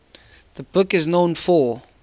the book is known for